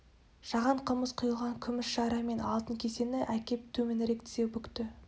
жаған қымыз құйылған күміс шара мен алтын кесені әкеп төменірек тізе бүкті